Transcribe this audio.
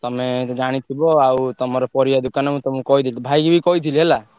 ତମେ ତ ଜାଣି ଥିବ ଆଉ ତମର ପରିବା ଦୋକାନ ମୁଁ ତମୁକୁ କହିଦେଲି। ଭାଇକି ବି କହିଥିଲି ହେଲା।